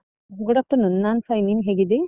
Good afternoon ನಾನ್ fine , ನೀನ್ ಹೇಗಿದ್ದಿ?